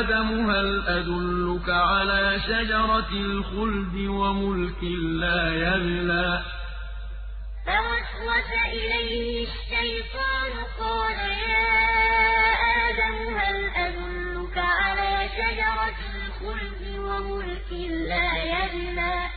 آدَمُ هَلْ أَدُلُّكَ عَلَىٰ شَجَرَةِ الْخُلْدِ وَمُلْكٍ لَّا يَبْلَىٰ فَوَسْوَسَ إِلَيْهِ الشَّيْطَانُ قَالَ يَا آدَمُ هَلْ أَدُلُّكَ عَلَىٰ شَجَرَةِ الْخُلْدِ وَمُلْكٍ لَّا يَبْلَىٰ